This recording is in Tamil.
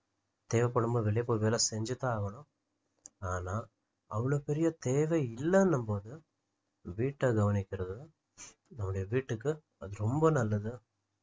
தேவைப்படும் போது வெளிய போய் வேலை செஞ்சுதான் ஆகணும் ஆனா அவ்வளவு பெரிய தேவை இல்லைன்னும் போது வீட்டை கவனிக்குறது நம்முடைய வீட்டுக்கு அது ரொம்ப நல்லது